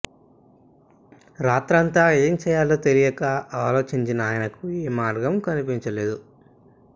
రాత్రంతా ఏం చేయాలో తెలియక ఆలోచించిన ఆయనకు ఏ మార్గం కనిపించలేదు